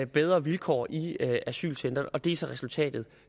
bedre vilkår i asylcentrene og det er så resultatet